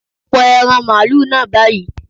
Pọ ẹran màlúù náà báyìí